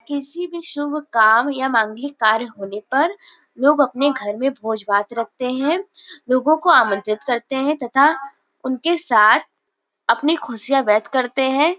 किसी भी शुभ काम या मांगलिक कार्य होने पर लोग अपने घर में भोज-भात रखते हैं लोगों को आमंत्रित करते हैं तथा उनके साथ अपनी खुशियां व्यक्त करते हैं। ।